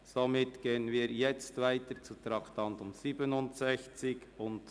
Wir fahren weiter mit dem Traktandum 67.